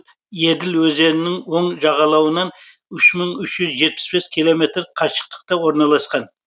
еділ өзенінің оң жағалауынан үш мың үш жүз жетпіс бес километр қашықтықта орналасқан